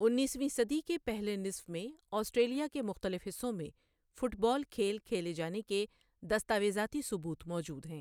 انیسویں صدی کے پہلے نصف میں آسٹریلیا کے مختلف حصوں میں 'فٹ بال' کھیل کھیلے جانے کے دستاویزاتی ثبوت موجود ہیں۔